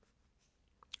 DR1